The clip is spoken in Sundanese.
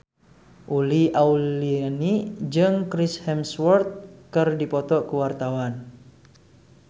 Uli Auliani jeung Chris Hemsworth keur dipoto ku wartawan